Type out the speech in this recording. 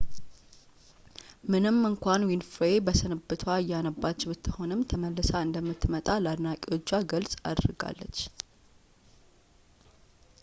ምንም እንኳን ዊንፍሬይ በስንብቷ እያነባች ብትሆንም ተመልሳ እንደምትመጣ ለአድናቂዎቿ ግልፅ አድርጋለች